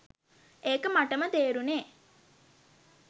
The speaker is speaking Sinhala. ඒක මටම තේරුනේ.